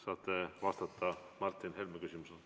Saate vastata Martin Helme küsimusele.